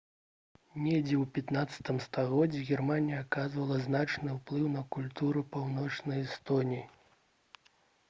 недзе ў 15-м стагоддзі германія аказвала значны ўплыў на культуру паўночнай эстоніі